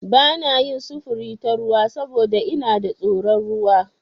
Ba na yin sufuri ta ruwa saboda ina da tsoron ruwa.